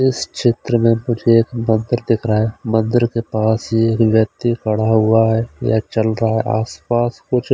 इस क्षेत्र में कुछ एक मंदिर दिख रहा है मंदिर के पास एक व्यक्ति खड़ा हुआ है या चल रहा है आस-पास कुछ--